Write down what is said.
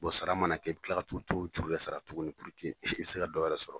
Bɔ sara mana kɛ , i bi tila ka t'o juru bɛɛ sara tuguni walasa i bɛ se ka dɔ wɛrɛ yɛrɛ sɔrɔ.